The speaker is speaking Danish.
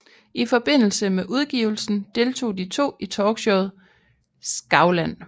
I forbindelse med udgivelsen deltog de to i talkshowet Skavlan